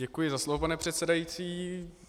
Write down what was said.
Děkuji za slovo, pane předsedající.